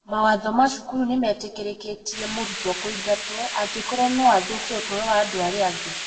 mawatho ma cukuru nĩ metĩkĩrĩtie mũrutwo kũingatwo angĩkorũo no athũkie ũtũũro wa andũ arĩa angĩ